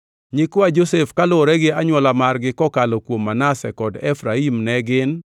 Nyikwa Josef kaluwore gi anywola margi kokalo kuom Manase kod Efraim ne gin: